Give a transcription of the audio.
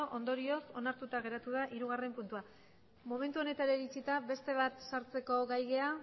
ondorioz onartuta geratu da hirugarrena puntua momentu honetara iritsita beste bat sartzeko gai gara